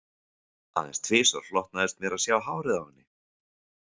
Aðeins tvisvar hlotnaðist mér að sjá hárið á henni